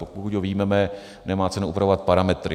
Pokud ho vyjmeme, nemá cenu upravovat parametry.